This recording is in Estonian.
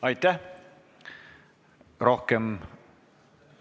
Aitäh!